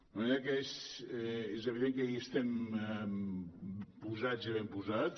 de manera que és evident que hi estem posats i ben posats